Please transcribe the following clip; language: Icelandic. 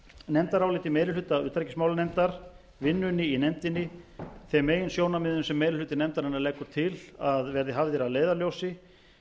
nefndaráliti meiri hluta utanríkismálanefndar vinnunni í nefndinni þeim meginsjónarmiðum sem meiri hluti nefndarinnar leggur til að verði hafðir að leiðarljósi